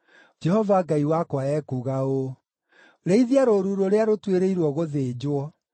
Jehova Ngai wakwa ekuuga ũũ: “Rĩithia rũũru rũrĩa rũtuĩrĩirwo gũthĩnjwo.